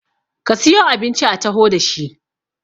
ka siyo abinci a taho da shi!